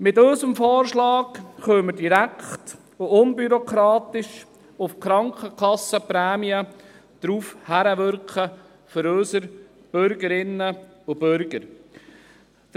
Mit unserem Vorschlag können wir direkt und unbürokratisch auf eine geringere Belastung durch die Krankenkassenprämien für unsere Bürgerinnen und Bürger hinwirken.